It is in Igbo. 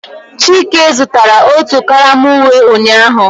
Chike zụtara otu karama uwe ụnyahụ